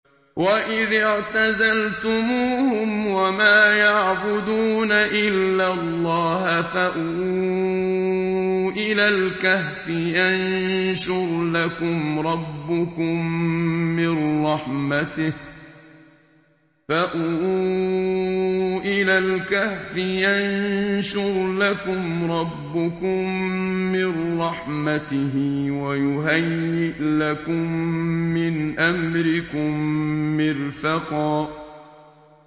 وَإِذِ اعْتَزَلْتُمُوهُمْ وَمَا يَعْبُدُونَ إِلَّا اللَّهَ فَأْوُوا إِلَى الْكَهْفِ يَنشُرْ لَكُمْ رَبُّكُم مِّن رَّحْمَتِهِ وَيُهَيِّئْ لَكُم مِّنْ أَمْرِكُم مِّرْفَقًا